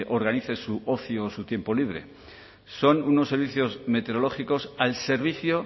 organice su ocio o su tiempo libre son unos servicios meteorológicos al servicio